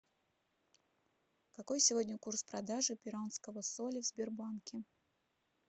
какой сегодня курс продажи перуанского соли в сбербанке